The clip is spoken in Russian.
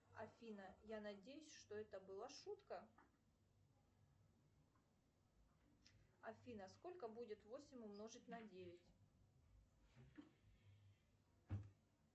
афина я надеюсь что это была шутка афина сколько будет восемь умножить на девять